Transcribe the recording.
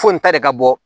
Foyi ta de ka bɔ